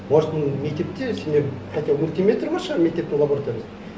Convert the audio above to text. может мектепте сенде хотя бы мультиметр бар шығар мектептің лабораториясында